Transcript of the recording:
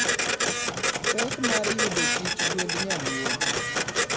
pek mar yudo chich gwend nyaluo